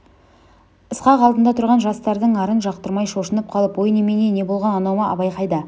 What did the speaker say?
ысқақ алдында тұрған жастардың арын жақтырмай шошынып қалып ой немене не болған анау абай ма қайда